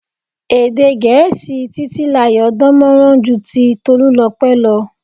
Èdè Gẹ̀ẹ́sì Titilayo dán mọran ju ti Tolulope lọ.